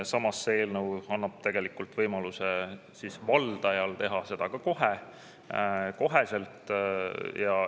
Samas, see eelnõu annab tegelikult võimaluse valdajal teha seda ka kohe.